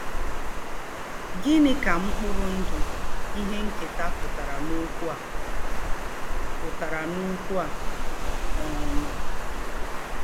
Gịnị ka mkpụrụ ndụ ihe nketa pụtara n'okwu a? pụtara n'okwu a? um